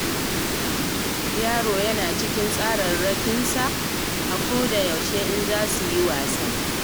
Yaro yana cikin tsararrakinsa yara a koda yaushe in za suyi wasa.